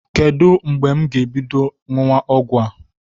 Kedu mgbe m ga-ebido ṅụwa ọgwụ a?